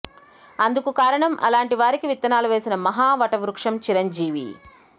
అందుకు కారణం అలాంటి వారికి విత్తనాలు వేసిన మహా వటవృక్షం చిరంజీవి